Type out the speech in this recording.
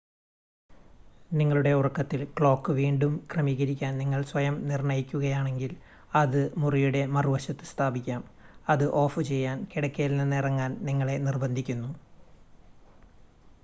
നിങ്ങളുടെ ഉറക്കത്തിൽ ക്ലോക്ക് വീണ്ടും ക്രമീകരിക്കാൻ നിങ്ങൾ സ്വയം നിർണ്ണയിക്കുകയാണെങ്കിൽ അത് മുറിയുടെ മറുവശത്ത് സ്ഥാപിക്കാം അത് ഓഫുചെയ്യാൻ കിടക്കയിൽ നിന്ന് ഇറങ്ങാൻ നിങ്ങളെ നിർബന്ധിക്കുന്നു